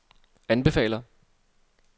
anbefaler